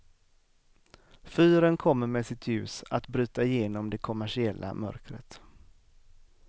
Fyren kommer med sitt ljus att bryta igenom det kommersiella mörkret.